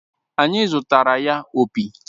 Anyị zụtaara ya opi